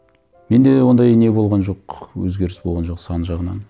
менде ондай не болған жоқ өзгеріс болған жоқ сан жағынан